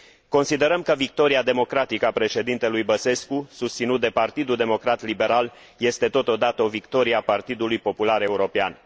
Considerăm că victoria democratică a președintelui Băsescu, susținut de Partidul Democrat Liberal, este totodată o victorie a Partidului Popular European.